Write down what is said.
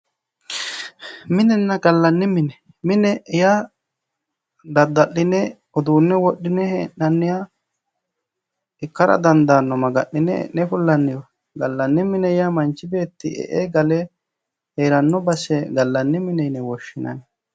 Minenna gallanni mine. mine yaa dadda'line uduunne wodhine hee'nanniha ikkara dandaanno. Maga'nine e'ne fullanniha gallanni mine yaa manchi beeti e'e gale heeranno base gallanni mine yine woshshinanni.